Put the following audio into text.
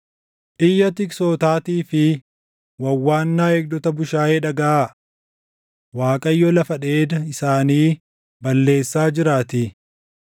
Iyya tiksootaatii fi wawwaannaa eegdota bushaayee dhagaʼaa! Waaqayyo lafa dheeda isaanii balleessaa jiraatii.